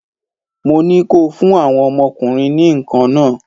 Mo ní kó o fún àwọn ọmọ ọkùnrin ní nǹkan nah!